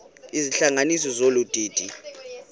izihlanganisi zolu didi